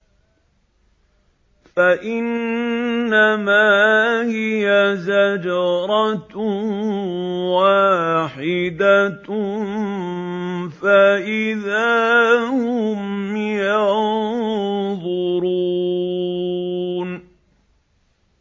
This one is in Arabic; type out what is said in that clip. فَإِنَّمَا هِيَ زَجْرَةٌ وَاحِدَةٌ فَإِذَا هُمْ يَنظُرُونَ